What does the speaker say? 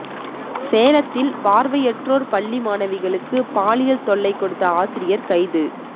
சேலத்தில் பார்வையற்றோர் பள்ளி மாணவிகளுக்கு பாலியல் தொல்லை கொடுத்த ஆசிரியர் கைது